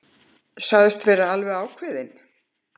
Sagðist vera alveg ákveðinn.